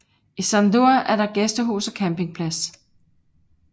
I Sandur er der gæstehus og campingplads